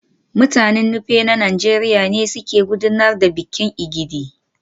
Mutanen Nupe na Najeriya ne suke gudanar da bikin Egidi